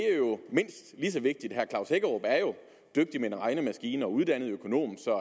mindst lige så vigtigt herre klaus hækkerup er jo dygtig med en regnemaskine og uddannet økonom så